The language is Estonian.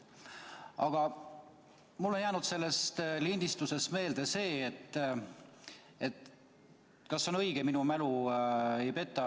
Aga mulle on jäänud sellest lindistusest meelde see, et – kas on õige, ega minu mälu ei peta?